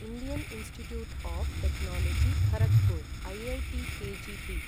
Indian Institute of Technology Kharagpur IITKGP